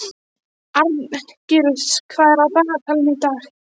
Arngils, hvað er á dagatalinu í dag?